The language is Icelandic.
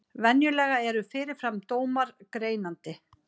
Venjulega eru fyrirfram dómar greinandi.